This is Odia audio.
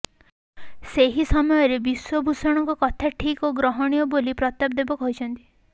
ସେହି ସମୟରେ ବିଶ୍ୱଭୂଷଣଙ୍କ କଥା ଠିକ୍ ଓ ଗ୍ରହଣୀୟ ବୋଲି ପ୍ରତାପ ଦେବ କହିଛନ୍ତି